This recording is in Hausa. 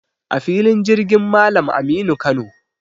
A filin jirgin Malam Aminu Kano.